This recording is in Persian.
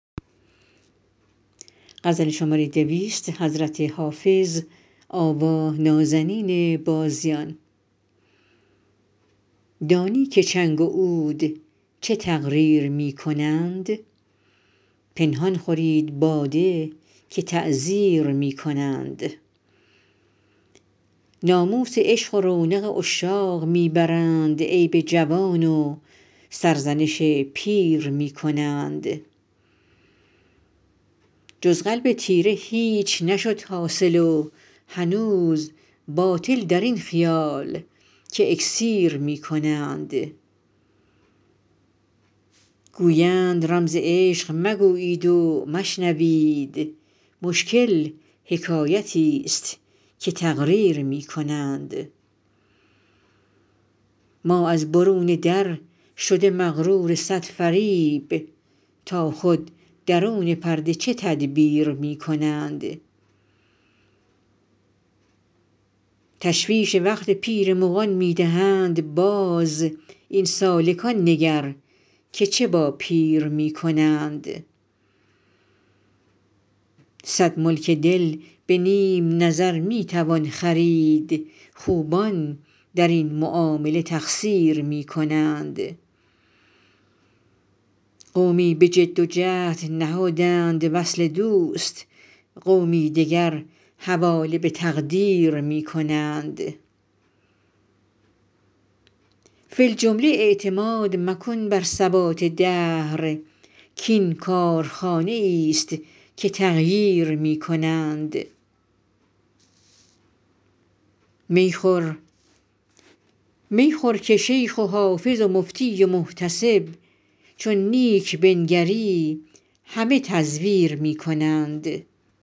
دانی که چنگ و عود چه تقریر می کنند پنهان خورید باده که تعزیر می کنند ناموس عشق و رونق عشاق می برند عیب جوان و سرزنش پیر می کنند جز قلب تیره هیچ نشد حاصل و هنوز باطل در این خیال که اکسیر می کنند گویند رمز عشق مگویید و مشنوید مشکل حکایتیست که تقریر می کنند ما از برون در شده مغرور صد فریب تا خود درون پرده چه تدبیر می کنند تشویش وقت پیر مغان می دهند باز این سالکان نگر که چه با پیر می کنند صد ملک دل به نیم نظر می توان خرید خوبان در این معامله تقصیر می کنند قومی به جد و جهد نهادند وصل دوست قومی دگر حواله به تقدیر می کنند فی الجمله اعتماد مکن بر ثبات دهر کـ این کارخانه ایست که تغییر می کنند می خور که شیخ و حافظ و مفتی و محتسب چون نیک بنگری همه تزویر می کنند